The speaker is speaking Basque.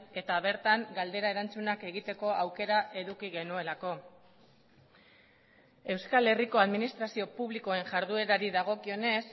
eta bertan galdera erantzunak egiteko aukera eduki genuelako euskal herriko administrazio publikoen jarduerari dagokionez